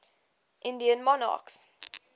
indian monarchs